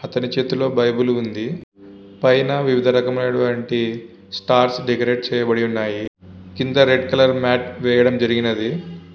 అతని చేతిలో బైబిలు ఉంది.పైన వివిధ రకమైనటువంటి స్టార్స్ డెకరేట్ చేయబడి ఉన్నాయి. కింద రెడ్ కలర్ మ్యాట్ వేయడం జరిగినది.